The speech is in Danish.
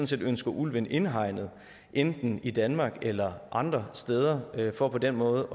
set ønsker ulven indhegnet enten i danmark eller andre steder for på den måde